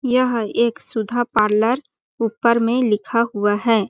यह एक सुधा पार्लर ऊपर में लिखा हुआ हैं ।